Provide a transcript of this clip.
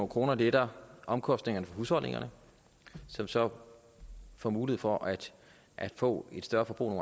kroner letter omkostningerne for husholdningerne som så får mulighed for at at få et større forbrug